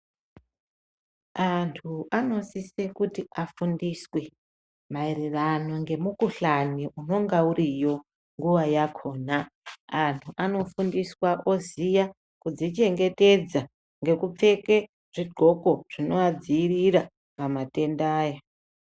Anthu anosise kuti afundiswe maererano ngemukuhlani unonga uriyo nguwa yakhona. Anhu anofundiswa oziya kudzichengetedza ngekupfeke zvidhloko zvinovadziirira pamatenda aya.